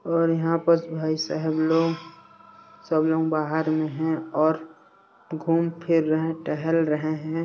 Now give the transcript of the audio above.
यहाँ पस भाई साहब लोग सब लोग बाहर में है और घूम फिर रहे टेहेल रहे है।